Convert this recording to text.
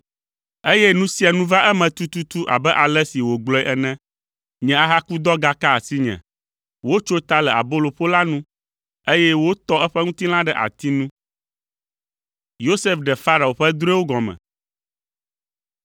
“Eye nu sia nu va eme tututu abe ale si wògblɔe ene; nye ahakudɔ gaka asinye, wotso ta le aboloƒola nu, eye wotɔ eƒe ŋutilã ɖe ati nu.”